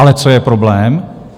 Ale co je problém?